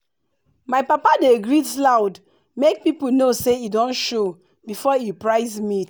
my papa dey greet loud make people know say e don show before e price meat.